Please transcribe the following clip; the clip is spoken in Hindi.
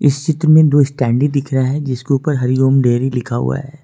इस चित्र में दो स्टैंडिंग दिख रहा है जिसके ऊपर हरिओम डेयरी लिखा हुआ है।